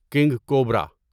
king cobra